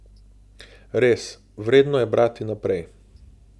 Res, vredno je brati naprej.